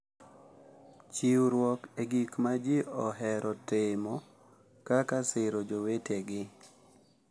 Chiwruok e gik ma ji ohero timo, kata siro jowetegi